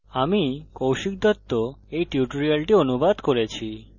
আমি কৌশিক দত্ত এই টিউটোরিয়ালটি অনুবাদ করেছি